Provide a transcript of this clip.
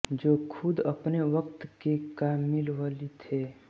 जो ख़ुद अपने वक़्त के का मिल वली थे